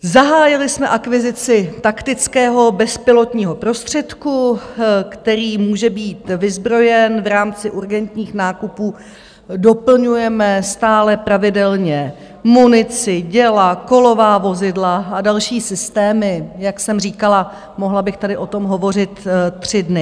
Zahájili jsme akvizici taktického bezpilotního prostředku, který může být vyzbrojen v rámci urgentních nákupů, doplňujeme stále pravidelně munici, děla, kolová vozidla a další systémy - jak jsem říkala, mohla bych tady o tom hovořit tři dny.